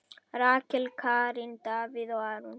Rakel, Karen, Davíð og Aron.